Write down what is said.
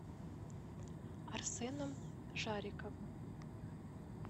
арсеном жариковым